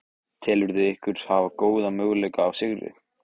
Telurðu ykkur hafa góða möguleika á sigri?